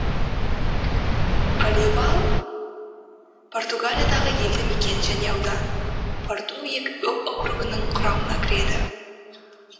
оливал португалиядағы елді мекен және аудан порту округінің құрамына кіреді